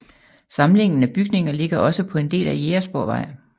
Samlingen af bygninger ligger også på en del af Jægersborgvej